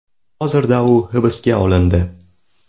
Hozirda u hibsga olindi.